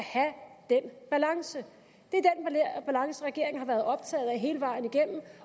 den balance regeringen har været optaget af hele vejen igennem